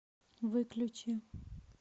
выключи